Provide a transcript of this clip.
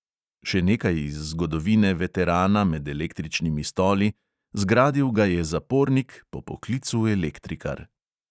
Še nekaj iz zgodovine veterana med električnimi stoli: zgradil ga je zapornik, po poklicu elektrikar.